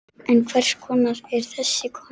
En hver er þessi kona?